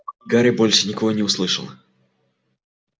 гарри больше ничего не услышал